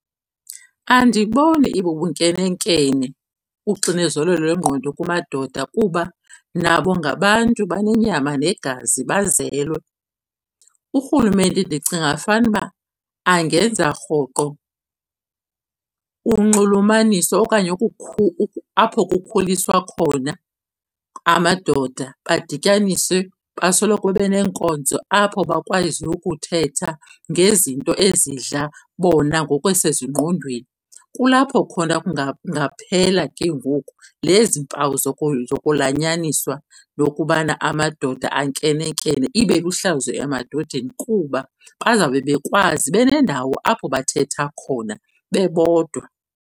Andiboni ibubunkenenkene uxinezelelo lwengqondo kumadoda kuba nabo ngabantu banenyama negazi bazelwe. Urhulumente ndicinga fanuba angenza rhoqo unxulumaniso okanye apho kukhuliswa khona amadoda badityaniswe basoloko beneenkonzo apho bakwaziyo ukuthetha ngezinto ezidla bona ngokwasezingqondweni. Kulapho khona kungaphela ke ngoku nezi mpawu zokulanyaniswa yokubana amadoda ankenenkene. Ibe lihlazo emadodeni kuba bazawube bekwazi benendawo apho bathetha khona bebodwa.